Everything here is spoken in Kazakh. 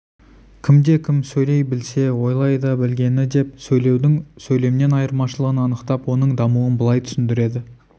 кімде-кім сөйлей білсе ойлай да білгені деп сөйлеудің сөйлемнен айырмашылығын анықтап оның дамуын былай түсіндіреді